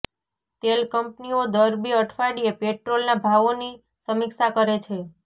તેલ કંપનીઓ દર બે અઠવાડિયે પેટ્રોલના ભાવોની સમીક્ષા કરે છે